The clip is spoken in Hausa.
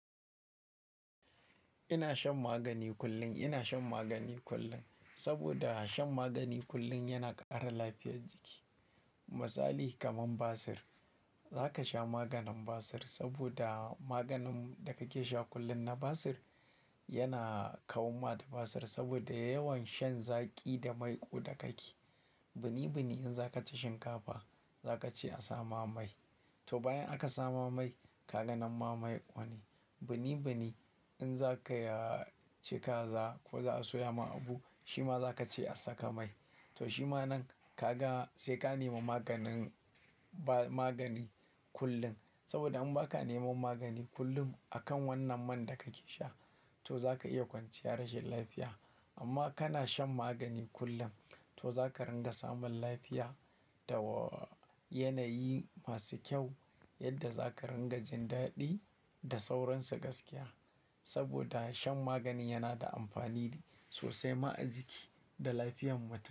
Ina shan magani kullum. Ina shan magani kullum saboda shan magani kullum yana ƙara lafiyar jiki. Misali, kamar basir, za ka sha maganin basir saboda maganin da kake sha kullum na basir yana kawo ma da basir saboda yawan shan zaƙi da maiƙu da kake. Bini bini in za ka ci shinkafa, za ka ce a sa ma mai. To bayan aka sa ma mai, ka ga nan ma mai ƙone. Bini bini in za ka, ya-- ci kaza ko za a soya ma abu, shi ma za ka ce a saka mai. To shi ma nan ka ga sai ka nema maganin ba-- magani kullum. Saboda in ba ka nema magani kullum akan wannan man da kake sha, to za ka iya kwanciya rashin lafiya. Amma kana shan magani kullum, to za ka ringa samun lafiya da yanayi masu kyau yadda za ka ringa jin daɗi da sauransu gaskiya. Saboda shan magani yana da amfani ne sosai ma ajiki da lafiyar mutum.